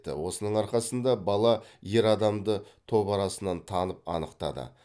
осының арқасында бала ер адамды топ арасынан танып анықтады